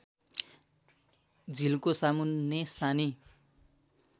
झिल्को सामुन्ने सानी